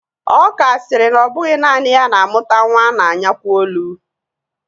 Ọka sịrị na ọ bụghị naanị ya na-amụta nwa a na-anyakwo olu